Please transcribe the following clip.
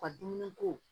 U ka dumuni ko